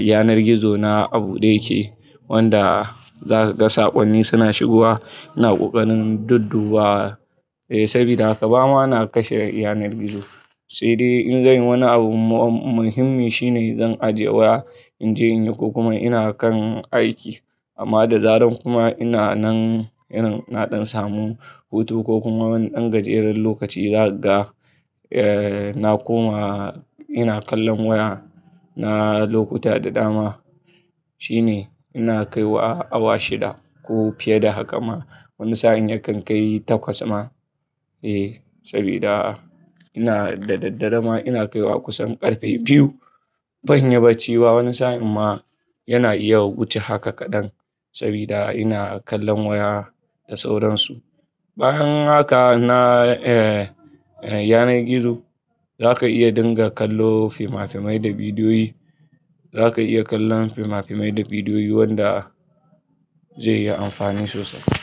yanar gizo na abuɗe yake wanda zaka ga saƙonni suna shigowa, ina ƙoƙarin duddubawa, sabida haka ba ma na kashe yanar gizo. Sai dai in zai yi wani abu muhimmi shine zan ajiye waya in je in yi ko kuma ina kan aiki. Amma da zaran kuma ina nan irin na ɗan samu hutu ko kuma wani ɗan gajeren lokaci zakaga, na koma ina kallon waya. Na lokuta da dama shine ina kaiwa awa shida ko fiye da haka ma. Wani sa'in yakan kai takwas ma, sabida ina da daddare ma ina kaiwa kusan ƙarfe biyu. In banyi bacci ba wani sa'in ma yana iya wuce haka kadan sabida ina kallon waya da sauransu. Bayan haka na yanar gizo zaka iya dinga kallo finafinai da bidiyoyi. Zaka iya kallon fimafimai da bidiyoyi wanda zai yi amfani sosai.